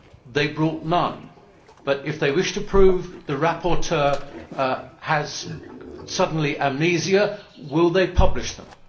They brought none, but if they wish to prove that the rapporteur has suddenly amnesia, will they publish them?